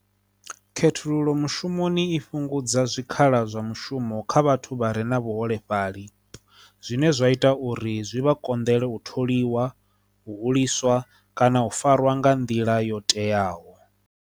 Khethululo mushumoni i fhungudza zwikhala zwa mushumo kha vhathu vha re na vhuholefhali zwine zwa ita uri zwi vha konḓele u tholiwa hu ḽiswa kana u fariwa nga nḓila yo teaho.